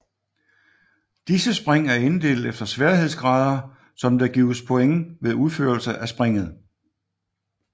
Disse spring er inddelt efter sværhedsgrader som der gives point ved uførelse af springet